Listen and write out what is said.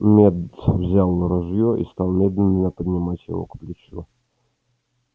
мэтт взял ружьё и стал медленно поднимать его к плечу